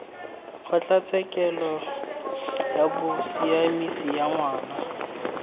kgotlatshekelo ya bosiamisi ya ngwana